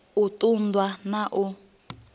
u ṱun ḓwa na u